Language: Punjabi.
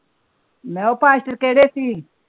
ਮੈ ਉਹ ਕਿਹੜੇ ਸੀ।